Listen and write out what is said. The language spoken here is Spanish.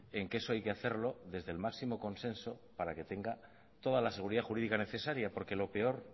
en que eso hay que hacerlo desde el máximo consenso para que tenga toda la seguridad jurídica necesaria porque lo peor